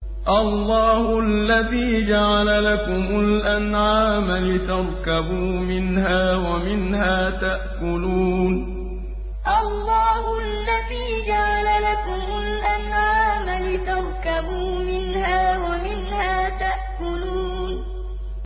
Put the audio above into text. اللَّهُ الَّذِي جَعَلَ لَكُمُ الْأَنْعَامَ لِتَرْكَبُوا مِنْهَا وَمِنْهَا تَأْكُلُونَ اللَّهُ الَّذِي جَعَلَ لَكُمُ الْأَنْعَامَ لِتَرْكَبُوا مِنْهَا وَمِنْهَا تَأْكُلُونَ